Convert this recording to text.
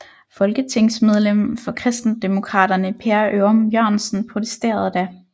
Folketingsmedlem for Kristendemokraterne Per Ørum Jørgensen protesterede da